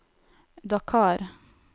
Dakar